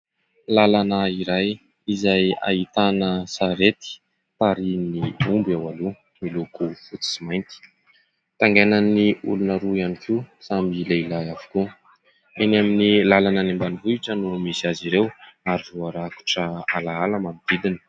Lalana iray izay ahitana sarety tarihin'ny omby ao aloha niloko fotsy sy mainty ; taingainan'ny olona roa ihany koa samy lehilahy avokoa. Eny amin'ny lalana any ambanivohitra no misy azy ireo ary voarakotra alaala manodidina.